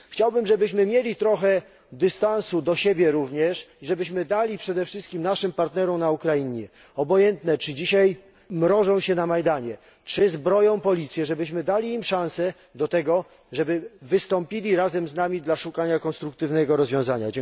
Chciałbym, żebyśmy mieli trochę dystansu do siebie również i żebyśmy dali przede wszystkim naszym partnerom na Ukrainie, obojętne, czy dzisiaj mrożą się na Majdanie, czy zbroją policję żebyśmy dali im szansę na tego, żeby wystąpili razem z nami dla szukania konstruktywnego rozwiązania.